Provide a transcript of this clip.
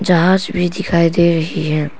जहाज भी दिखाई दे रही है।